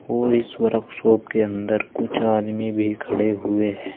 और इस वर्कशॉप के अंदर कुछ आदमी भी खड़े हैं।